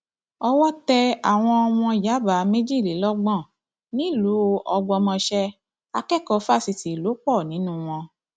owó tẹ àwọn ọmọ yàbá méjìlélọgbọn nílùú ọgbọmọṣẹ akẹkọọ fásitì lò pọ nínú wọn